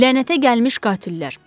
Lənətə gəlmiş qatillər.